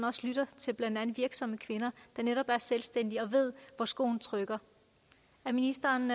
også lytter til virksomme kvinder der netop er selvstændige og ved hvor skoen trykker er ministeren